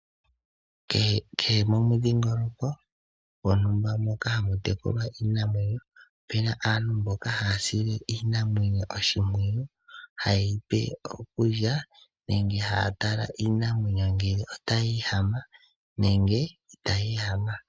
Kehe momudhingoloko moka hamu tekulwa iinamwenyo opuna aantu mboka haya sile iinamwenyo oshimpwiyu haye yi pe okulya nenge haya tala ngele iinamwenyo otayi ehama nenge itayi ehama.